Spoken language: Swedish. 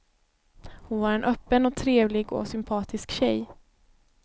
Hon var en öppen och trevlig och sympatisk tjej.